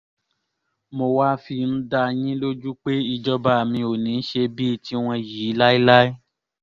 mo wáá fi ń dá dá yín lójú pé ìjọba mi ò ní í ṣe bíi tiwọn yìí láéláé